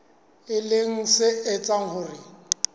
e leng se etsang hore